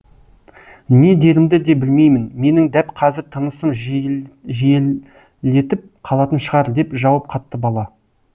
не дерімді де білмеймін менің дәп қазір тынысым жиілетіп қалатын шығар деп жауап қатты бала